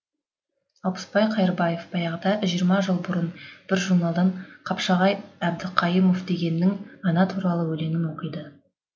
алпысбай қайырбаев баяғыда жиырма жыл бұрын бір журналдан қапшағай әбдіқайымов дегеннің ана туралы өлеңін оқиды